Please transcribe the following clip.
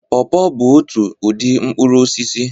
Paw paw bụ otu ụdị mkpụrụ osisi